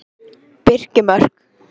Birkimörk